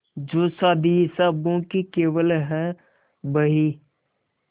जो शादी हिसाबों की केवल है बही